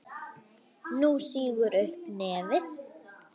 Hún sýgur upp í nefið.